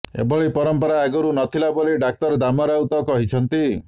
ଏଭଳି ପରମ୍ପରା ଆଗରୁ ନଥିଲା ବୋଲି ଡାକ୍ତର ଦାମ ରାଉତ କହିଛନ୍ତି